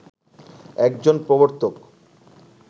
একজন প্রবর্তক